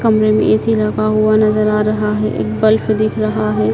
कमरे मे ए_सी लगा हुआ नजर आ रहा है एक बल्ब दिख रहा है।